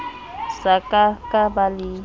sa ka ka ba le